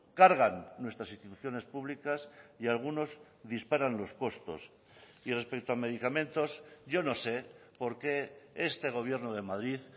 cargan nuestras instituciones públicas y algunos disparan los costos y respecto a medicamentos yo no sé porque este gobierno de madrid